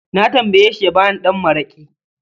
Na tambayeshi ya ba ni ɗan mara'ki